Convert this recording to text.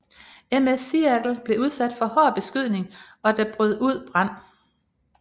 MS Seattle blev udsat for hård beskydning og der brød ud brand